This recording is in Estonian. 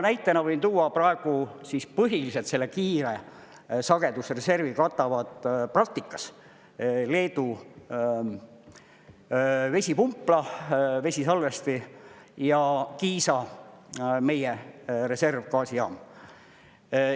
Näitena võin tuua: praegu siis põhiliselt selle kiire sagedusreservi katavad praktikas Leedu vesipumpla, vesisalvesti ja meie Kiisa reservgaasijaam.